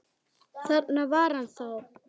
Þarna var hann þá!